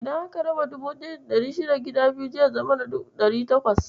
Idan aka raba 1600 gida biyu, zai zama 800.